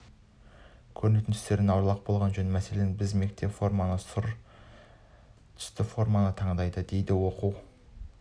көрінетін түстерден аулақ болған жөн мәселен біздің орта мектеп сұр түсті форманы таңдады дейді оқу